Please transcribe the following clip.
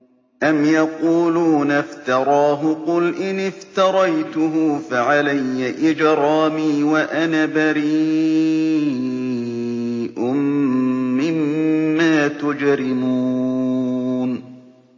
أَمْ يَقُولُونَ افْتَرَاهُ ۖ قُلْ إِنِ افْتَرَيْتُهُ فَعَلَيَّ إِجْرَامِي وَأَنَا بَرِيءٌ مِّمَّا تُجْرِمُونَ